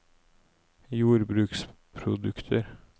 jordbruksprodukter